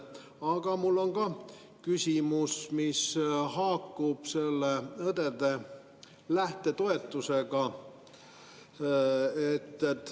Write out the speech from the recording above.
Aga mul on ka küsimus, mis haakub õdede lähtetoetusega.